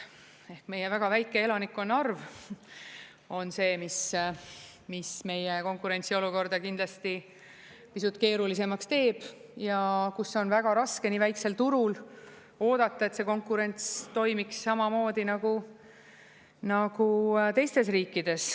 Ehk meie väga väike elanike arv on see, mis meie konkurentsiolukorda kindlasti pisut keerulisemaks teeb ja kus on väga raske nii väiksel turul oodata, et see konkurents toimiks samamoodi nagu teistes riikides.